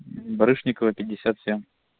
барышникова пятьдесят семь